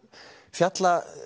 fjalla